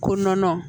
Ko nɔnɔ